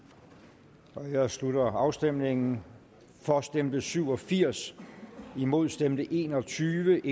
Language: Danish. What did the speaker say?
der nu jeg slutter afstemningen for stemte syv og firs imod stemte en og tyve